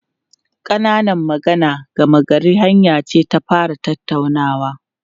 Ƙananan magana gama garin hanya ce ta fara tattaunawa.